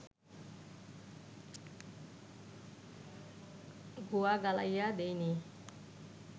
গুয়া গালাইয়া দিইনি